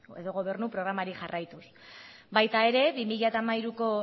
edo gobernu programari jarraituz baita ere bi mila hamairuko